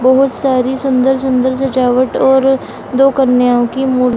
बहोत सारी सुंदर-सुंदर सजावट और दो कन्याओं की मूर --